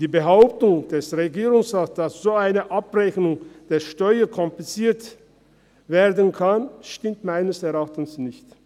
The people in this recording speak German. Die Behauptung des Regierungsrates, wonach eine solche Abrechnung der Steuern kompliziert werden könne, stimmt meines Erachtens nicht.